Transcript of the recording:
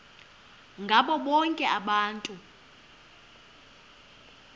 ngabo bonke abantu